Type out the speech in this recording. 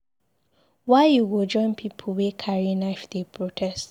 Why you go join pipu wey carry knife dey protest?